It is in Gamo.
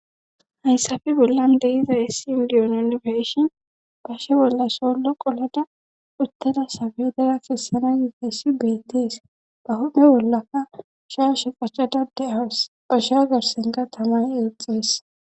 hayssafe bollan de'iza issi indiyononfeshin bashe bollay soollo qoleda utteda sabedera kessana yifessi bettis ba hophphe bollaka shaashe qachadade as pashea garsenka tamay eexees